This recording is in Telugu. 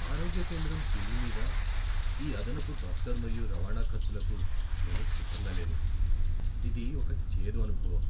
ఆరోగ్య కేంద్రం బిల్లు మీద ఈ అదనపు డాక్టర్ మరియు రవాణా ఖర్చులకు నేను సిద్ధంగా లేను, ఇది ఒక చేదు అనుభవం!